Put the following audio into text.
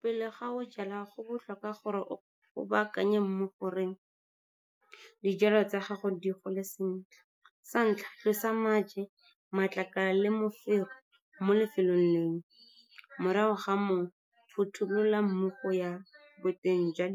Pele ga o jala, go botlhokwa gore o baakanye mo gore dijalo tsa gago di gole sentle. Sa ntlha, tlosa maje, matlakala le mofero mo lefelong leo. Morago ga moo, phothulola mmu go ya boteng jwa